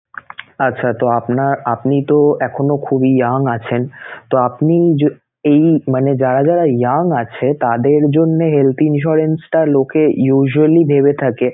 আচ্ছা তো আপনার~ আপনি তো এখনো খুব young আছেনতো আপনি যে এই মানে যারা যারা young আছে তাদের জন্যে health insurance টা লোকে usually ভেবে থাকে